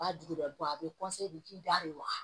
B'a dugu dɔ kɔ a bɛ de k'i da de waga